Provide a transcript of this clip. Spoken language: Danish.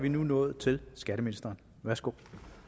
vi nu nået til skatteministeren værsgo